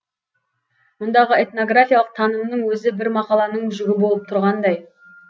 мұндағы этнографиялық танымның өзі бір мақаланың жүгі болып тұрғандай